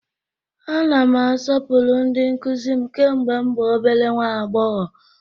Ana m asọpụrụ ndị nkụzi m kemgbe m bụ obere nnwa agbọghọ.